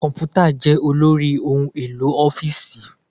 Komputa jẹ́ olórí ohun-èlò ọ́fíìsì.